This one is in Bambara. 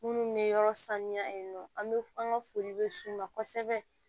Minnu bɛ yɔrɔ sanuya yen nɔ an bɛ an ka foli bɛ ma kosɛbɛ